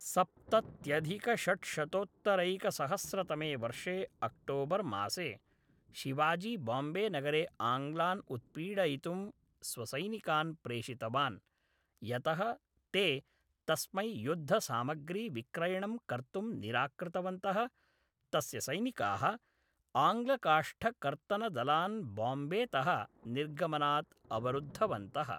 सप्तत्यधिकषड्शतोत्तरैकसहस्रतमे वर्षे अक्टोबर्मासे, शिवाजी बाम्बेनगरे आङ्ग्लान् उत्पीडयितुं स्वसैनिकान् प्रेषितवान्, यतः ते तस्मै युद्धसामग्रीविक्रयणं कर्तुं निराकृतवन्तः, तस्य सैनिकाः आङ्ग्लकाष्ठकर्तनदलान् बाम्बेतः निर्गमनात् अवरुद्धवन्तः।